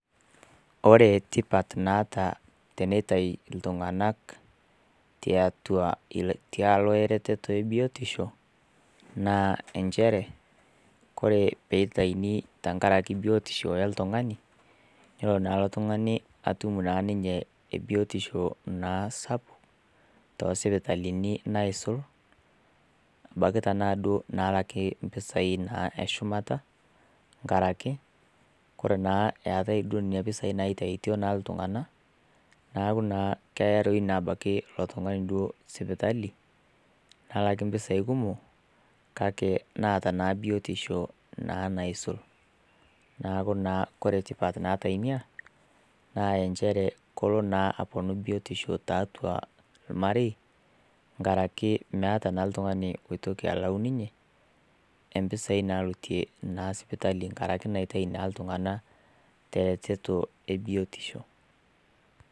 Ore tipat naata teneitai iltung'ana tiatua tialo eretoto e biotisho naa enchere Kore teneitaini tenkaraki e biotisho oltung'ani, nelo naa ilo tung'ani naa atum ninye ebiotisho naa sapuk, too isipitalini naisul ebaiki tanaa duo nalakitai impisai naa eshumata enkaraki Kore naa eatai duo Nena pisai naitautoi naa iltung'ana neaku naa keaya toi abaiki ilo tung'ani duo sipitali, nelaki impisai kumok kake naata naa biotisho naa naisul. Neaku naa ore tipat naata inia naa nchere kelo naa aponu biotisho tiatua ilmarei enkaraki meata naa l'tungani loitoki alayu nininye empisai naalotie naa ninye sipitali enkaraki naitayu naa iltung'ana te eretoto naa e biotisho.